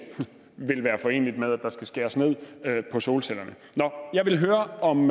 vil være foreneligt med at der skal skæres ned på solcellerne nå jeg vil høre om